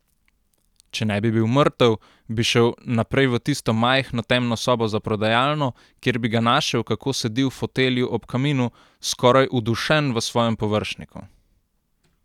Če ne bi bil mrtev, bi šel naprej v tisto majhno temno sobo za prodajalno, kjer bi ga našel, kako sedi v fotelju ob kaminu, skoraj udušen v svojem površniku.